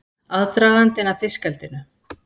Aðdragandinn að fiskeldinu